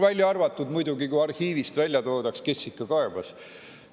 Välja arvatud muidugi, kui arhiivist välja toodaks, kes kaebas.